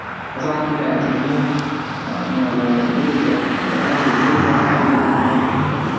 қазақ тілі әдемі жаңағы бельгер айтқандай әуезі де бар әуені де бар